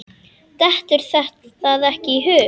Dettur það ekki í hug.